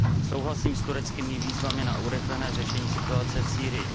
Souhlasím s tureckými výzvami na urychlené řešení situace v Sýrii.